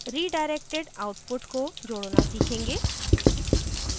redirected output को जोडना सीखेंगे